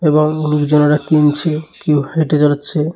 এবং গুরুজনেরা কিনছে কেউ হেঁটে চড়াচ্ছে ।